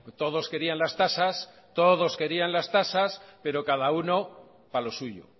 todos querían las tasas todos querían las tasas pero cada uno para lo suyo